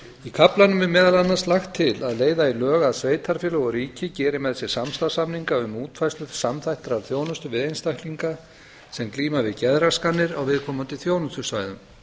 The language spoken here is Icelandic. í kaflanum er meðal annars lagt til að leiða í lög að sveitarfélög og ríki geri með sér samstarfssamninga um útfærslu samþættrar þjónustu við einstaklinga sem glíma við geðraskanir á viðkomandi þjónustusvæðum